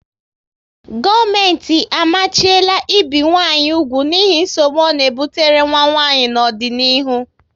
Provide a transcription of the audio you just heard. Gọọmenti amachiela ibi nwanyị úgwù n'ihi nsogbu ọ na ebutere nwa nwanyị n'ọdịnihu